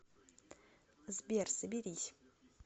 сбер соберись